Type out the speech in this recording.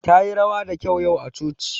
Tayi rawa da kyau yau a coci.